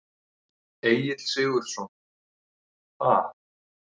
Egill Sigurðsson: Ha?